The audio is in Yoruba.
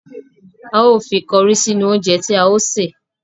A ó fi kọrí sínú oúnje tí a ó ṣè.